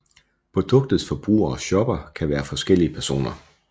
Produktets forbruger og shopper kan være forskellige personer